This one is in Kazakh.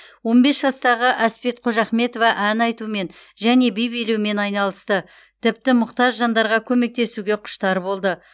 он бес жастағы әспет қожахметова ән айтумен және би билеумен айналысты тіпті мұқтаж жандарға көмектесуге құштар болды